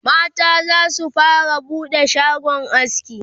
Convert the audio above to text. mata zasu fara buɗe shagon aski